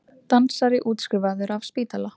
Dansari útskrifaður af spítala